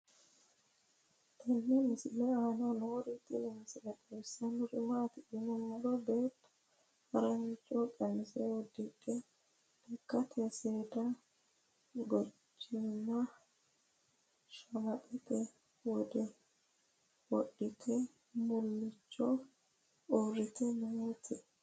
tenne misile aana noorina tini misile xawissannori maati yinummoro beetto harancho qamise udidhe lekkatte seeda guchaamme shamaxxette wodhitte muliicho uuritte nootti